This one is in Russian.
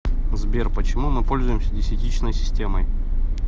сбер почему мы пользуемся десятичной системой